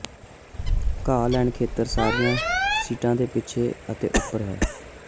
ਘਾਹ ਲੇਨ ਖੇਤਰ ਸਾਰੀਆਂ ਸੀਟਾਂ ਦੇ ਪਿੱਛੇ ਅਤੇ ਉਪਰ ਹੈ